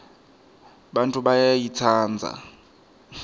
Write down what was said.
bantfu bayayitsandza